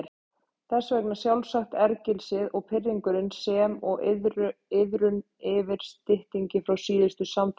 Þess vegna sjálfsagt ergelsið og pirringurinn sem og iðrun yfir styttingi frá síðustu samfundum.